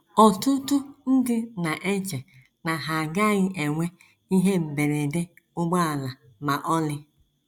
Ọtụtụ ndị na - eche na ha agaghị enwe ihe mberede ụgbọala ma ọlị.